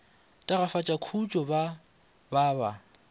tagafatša khutšo ba ba ba